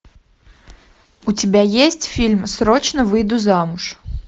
у тебя есть фильм срочно выйду замуж